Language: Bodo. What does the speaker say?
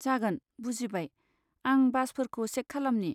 जागोन, बुजिबाय, आं बासफोरखौ चेक खालमनि।